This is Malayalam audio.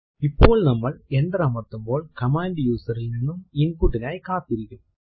ഇപ്പോൾ നമ്മൾ എന്റർ അമർത്തുമ്പോൾ കമാൻഡ് user ൽ നിന്നും input നായി കാത്തിരിക്കും